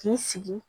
K'i sigi